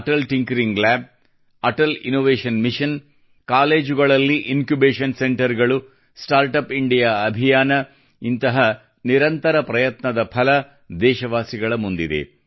Atal tinkering lab Atal innovation mission ಕಾಲೇಜುಗಳಲ್ಲಿ incubation ಸೆಂಟರ್ಗಳು start up India ಅಭಿಯಾನ ಇಂತಹ ನಿರಂತರ ಪ್ರಯತ್ನದ ಫಲ ದೇಶವಾಸಿಗಳ ಮುಂದಿದೆ